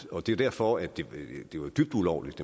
og det er derfor at det var dybt ulovligt